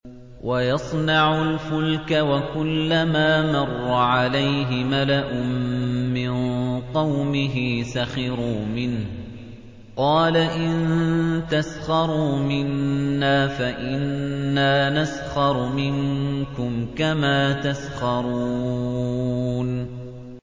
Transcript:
وَيَصْنَعُ الْفُلْكَ وَكُلَّمَا مَرَّ عَلَيْهِ مَلَأٌ مِّن قَوْمِهِ سَخِرُوا مِنْهُ ۚ قَالَ إِن تَسْخَرُوا مِنَّا فَإِنَّا نَسْخَرُ مِنكُمْ كَمَا تَسْخَرُونَ